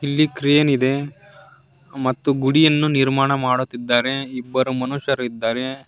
ಇಲ್ಲಿ ಕ್ರೇನ್ ಇದೆ ಮತ್ತು ಗುಡಿಯನ್ನು ನಿರ್ಮಾಣ ಮಾಡುತ್ತಿದ್ದಾರೆ ಇಬ್ಬರು ಮನುಷ್ಯರಿದ್ದಾರೆ.